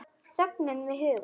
Þögnina við hugann.